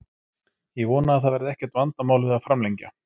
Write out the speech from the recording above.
Ég vona að það verði ekkert vandamál við að framlengja.